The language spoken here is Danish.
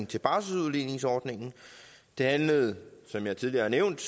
til barselsudligningsordningen det handlede som jeg tidligere har nævnt